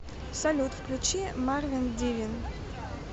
салют включи марвин дивин